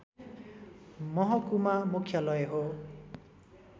महकुमा मुख्यालय हो